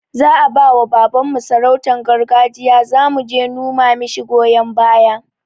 Za'a bawa baban mu sarautan garjiya, zamu je numa mishi goyon baya